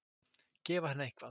Gefa henni eitthvað.